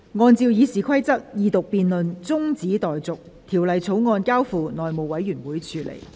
按照《議事規則》，二讀辯論中止待續，《條例草案》交付內務委員會處理。